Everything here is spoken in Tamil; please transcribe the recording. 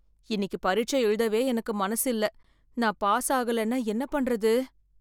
இன்னக்கி பரீட்சை எழுதவே எனக்கு மனசு இல்ல, நான் பாஸ் ஆகலன்னா என்ன பண்றது?